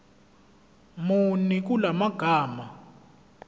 muni kula magama